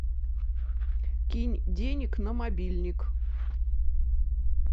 кинь денег на мобильник